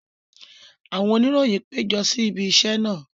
Àwọn oníròyìn pejọ si ibi isẹ naa.